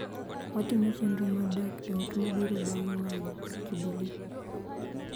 Watimo chenro mar dak e ot mabiro bang� ng�anjo mar Jubili.